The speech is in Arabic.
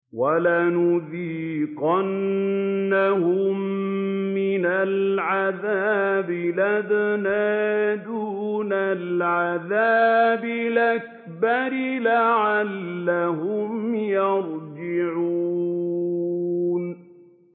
وَلَنُذِيقَنَّهُم مِّنَ الْعَذَابِ الْأَدْنَىٰ دُونَ الْعَذَابِ الْأَكْبَرِ لَعَلَّهُمْ يَرْجِعُونَ